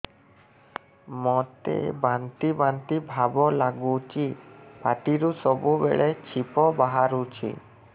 ମୋତେ ବାନ୍ତି ବାନ୍ତି ଭାବ ଲାଗୁଚି ପାଟିରୁ ସବୁ ବେଳେ ଛିପ ବାହାରୁଛି